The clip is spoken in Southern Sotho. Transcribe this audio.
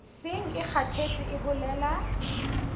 seng e kgathetse e bolela